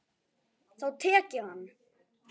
Þá tek ég hann!